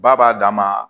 Ba b'a dan ma